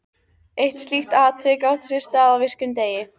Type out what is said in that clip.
Eitt slíkt atvik átti sér stað á virkum degi.